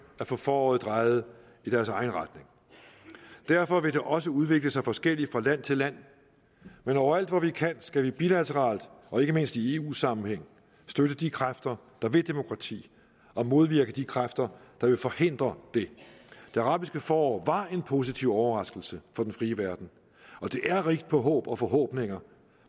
at få foråret drejet i deres egen retning derfor vil det også udvikle sig forskelligt fra land til land men overalt hvor vi kan skal vi bilateralt og ikke mindst i eu sammenhæng støtte de kræfter der vil demokrati og modvirke de kræfter der vil forhindre det det arabiske forår var en positiv overraskelse for den frie verden og det er rigt på håb og forhåbninger